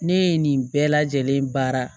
Ne ye nin bɛɛ lajɛlen baara